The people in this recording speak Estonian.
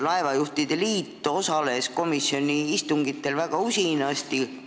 Laevajuhtide liit osales komisjoni istungitel väga usinasti.